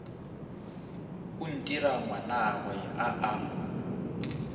o ntira ngwanagwe a a